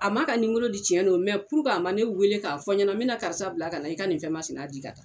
A ma ka nimoro di tiɲɛ don a ma ne weele k'a fɔ ɲɛna me na karisa bila ka na i ka nin fɛn masina di ka taa.